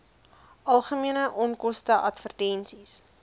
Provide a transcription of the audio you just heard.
algemene onkoste advertensies